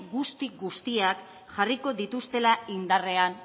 guzti guztiak jarriko dituztela indarrean